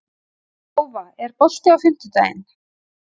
Tófa, er bolti á fimmtudaginn?